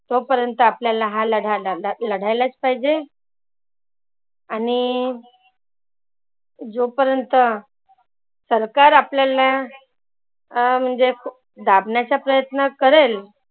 तो पर्यंत आपल्याला हा लढा लड लढायलाचं पाहीजे. आणि जोपर्यंत सरकार आपल्याला अं म्हणजे दाबण्याचा प्रयत्न करेल.